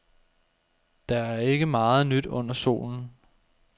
Der er ikke meget nyt under solen.